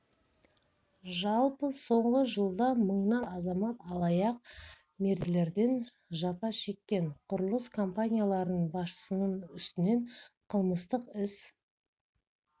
жалпы соңғы жылда мыңнан аса азамат алаяқ мердігерлерден жапа шеккен құрылыс компанияларының басшысының үстінен қылмыстық іс